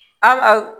An ka